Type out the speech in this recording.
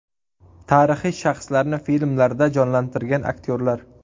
Tarixiy shaxslarni filmlarda jonlantirgan aktyorlar .